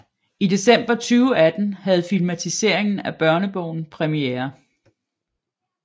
I december 2018 havde filmatiseringen af børnebogen premiere